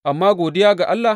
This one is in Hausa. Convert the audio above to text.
Amma godiya ga Allah!